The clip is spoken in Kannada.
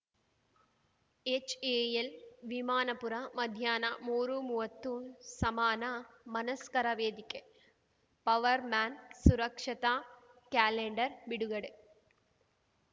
ಎಚ್‌ಎಎಲ್‌ ವಿಮಾನಪುರ ಮಧ್ಯಾಹ್ನ ಮೂರುಮುವತ್ತು ಸಮಾನ ಮನಸ್ಕರ ವೇದಿಕೆ ಪವರ್‌ ಮ್ಯಾನ್‌ ಸುರಕ್ಷತಾ ಕ್ಯಾಲೆಂಡರ್‌ ಬಿಡುಗಡೆ